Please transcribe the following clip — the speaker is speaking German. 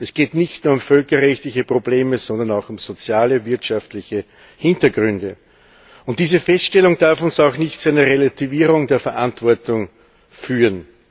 Es geht nicht nur um völkerrechtliche Probleme, sondern auch um soziale und wirtschaftliche Hintergründe. Diese Feststellung darf uns auch nicht zu einer Relativierung der Verantwortung führen.